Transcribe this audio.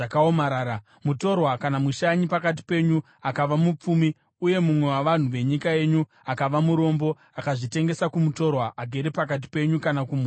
“ ‘Mutorwa kana mushanyi pakati penyu akava mupfumi, uye mumwe wavanhu venyika yenyu akava murombo akazvitengesa kumutorwa agere pakati penyu, kana kumhuri yomutorwa,